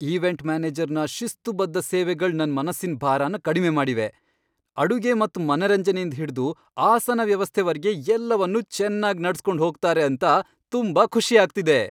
Event ಮ್ಯಾನೇಜರ್ನ ಶಿಸ್ತುಬದ್ಧ ಸೇವೆಗಳ್ ನನ್ ಮನಸ್ಸಿನ್ ಬಾರನ್ ಕಡ್ಮೆ ಮಾಡಿವೆ, ಅಡುಗೆ ಮತ್ ಮನರಂಜನೆಯಿಂದ್ ಹಿಡ್ದು ಆಸನ ವ್ಯವಸ್ಥೆ ವರ್ಗೆ ಎಲ್ಲವನ್ನೂ ಚೆನ್ನಾಗ್ ನಡ್ಸ್ ಕೊಂಡ್ ಹೋಗ್ತಾರೆ ಅಂತ ತುಂಬಾ ಖುಷಿ ಆಗ್ತಿದೆ.